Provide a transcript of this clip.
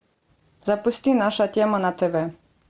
запусти наша тема на тв